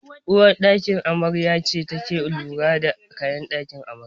Uwar ɗakin amarya ce take lura da kayakin amarya